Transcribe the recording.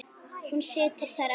Hún situr þar enn.